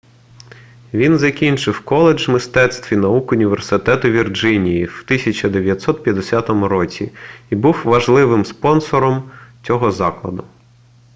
він закінчив коледж мистецтв і наук університету вірджинії в 1950 році і був важливим спонсором цього закладу